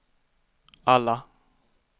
alla